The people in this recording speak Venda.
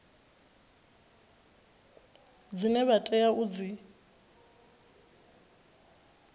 dzine vha tea u dzi